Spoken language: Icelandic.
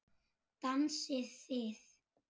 Dansið þið.